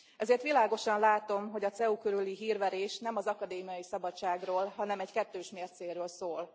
Ezért világosan látom, hogy a CEU körüli hírverés nem az akadémiai szabadságról, hanem egy kettős mércéről szól.